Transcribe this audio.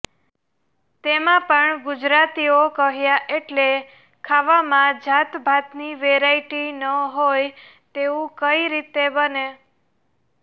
તેમા પણ ગુજરાતીઓ કહ્યા એટલે ખાવામાં જાતભાતની વેરાઇટી ન હોય તેવું કઈ રીતે બને